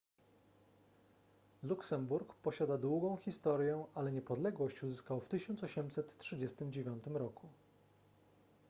luksemburg posiada długą historię ale niepodległość uzyskał w 1839 r